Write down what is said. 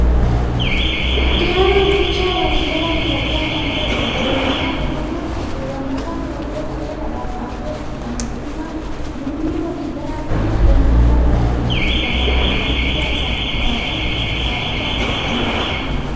Itti aanaa bulchaa waliiga Itoophiyaa kan ture Obbo Dammaqaa Mokonnon. Obbo Dammaqaan waggoota dheeraadhaaf aangoo itti aantummaa muummee waliigalaa biyya keenyaa ta'uudhaan hojii itti gaafatamummaa guddaa isaanitti laatame bahachaa kan turanidha.